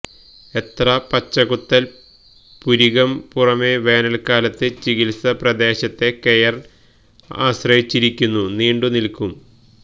എത്ര പച്ചകുത്തൽ പുരികം പുറമേ വേനൽക്കാലത്ത് ചികിത്സ പ്രദേശത്തെ കെയർ ആശ്രയിച്ചിരിക്കുന്നു നീണ്ടുനിൽക്കും